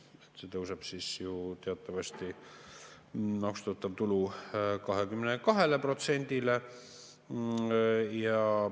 Maksustatav tulu tõuseb teatavasti 22%-le.